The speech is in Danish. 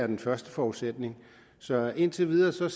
den første forudsætning så indtil videre ser